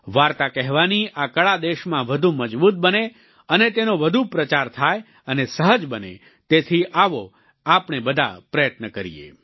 વાર્તા કહેવાની આ કળા દેશમાં વધુ મજબૂત બને અને તેનો વધુ પ્રચાર થાય અને સહજ બને તેથી આવો આપણે બધા પ્રયત્ન કરીએ